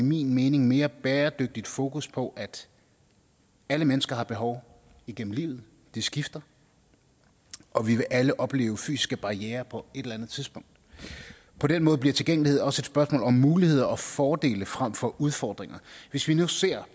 min mening mere bæredygtigt fokus på at alle mennesker har behov igennem livet de skifter og vi vil alle opleve fysiske barrierer på et eller andet tidspunkt på den måde bliver tilgængelighed også et spørgsmål om muligheder og fordele frem for udfordringer hvis vi nu ser